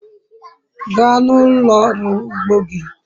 gaa n'ulo oru ugbo gi